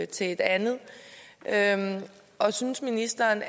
til et andet andet og synes ministeren